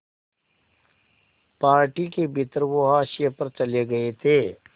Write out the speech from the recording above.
party के भीतर वो हाशिए पर चले गए थे